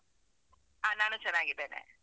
ಹ, ನಾನೂ ಚನ್ನಾಗಿದ್ದೇನೆ.